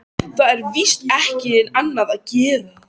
Það er víst ekki annað að gera.